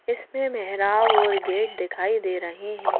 इसमें मेहराब और गेट दिखाई दे रहे हैं।